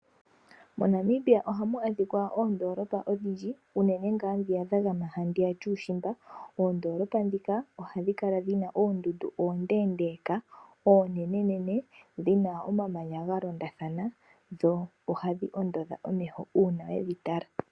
MoNamibia ohamu adhika oondoolopa odhindji uunene ngaa dhiya dhagama handiya yuushimba. Oondoolopa dhika ohadhi kala dhina oondundu oondeendeka, onenene, dhina omamanya galondathana dho ohadhi ondodha omeho uuna wedhitala.